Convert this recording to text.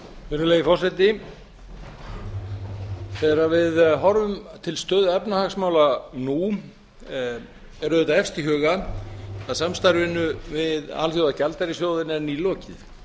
virðulegi forseti þegar við horfum til stöðu efnahagsmála nú er auðvitað efst í huga að samstarfinu við alþjóðagjaldeyrissjóðinn er ný lokið